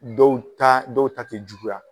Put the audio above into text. Dɔw ta dɔw ta te juguya.